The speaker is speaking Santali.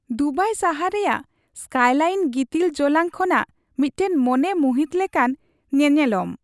ᱫᱩᱵᱟᱭ ᱥᱟᱦᱟᱨ ᱨᱮᱭᱟᱜ ᱥᱠᱟᱭᱼᱞᱟᱭᱤᱱ ᱜᱤᱛᱤᱞ ᱡᱚᱞᱟᱝ ᱠᱷᱚᱱᱟᱜ ᱢᱤᱫᱴᱟᱝ ᱢᱚᱱᱮ ᱢᱩᱦᱤᱛ ᱞᱮᱠᱟᱱ ᱧᱮᱱᱮᱞᱚᱢ ᱾